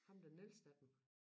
Ham den ældste af dem